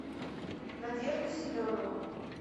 надежда семенова